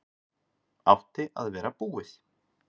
Átti að vera búið